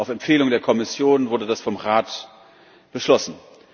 Auf Empfehlung der Kommission wurde das vom Rat beschlossen.